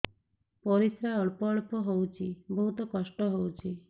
ପରିଶ୍ରା ଅଳ୍ପ ଅଳ୍ପ ହଉଚି ବହୁତ କଷ୍ଟ ହଉଚି